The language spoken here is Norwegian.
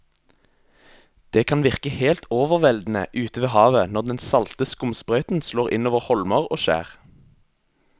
Det kan virke helt overveldende ute ved havet når den salte skumsprøyten slår innover holmer og skjær.